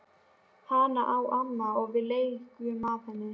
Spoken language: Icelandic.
Hana á amma og við leigjum af henni.